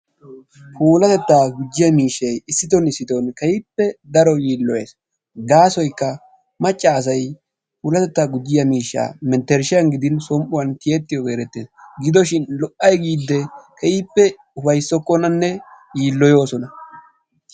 Puulatetta gujjiyaa miishshay issittoo issittoo keehippe daro yiiloyees gaasoykka maccassay puulatetta gujjiya miishsha menttershshan gidin som''uwaan tiyyetiyoogee erettees gidoshin lo"ay giide keehippe upayssokkonanne yiiloyoosona